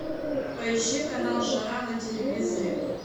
поищи канал жара на телевизоре